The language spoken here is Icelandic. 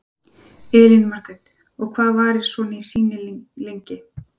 Elín Margrét: Og hvað varir svona sýning lengi?